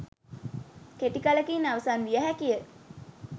කෙටි කලකින් අවසන් විය හැකිය.